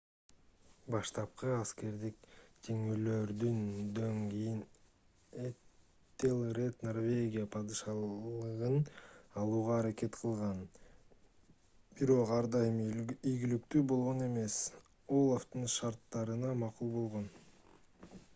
баштапкы аскердик жеңилүүлөрдөн кийин этелред норвегияга падышалыгын алууга аракет кылган бирок ар дайым ийгиликтүү болгон эмес олафтын шарттарына макул болгон